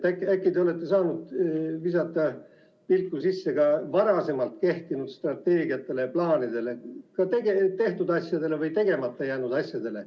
Äkki te olete saanud visata pilgu peale ka varem kehtinud strateegiatele, plaanidele, ka tehtud ja tegemata jäänud asjadele.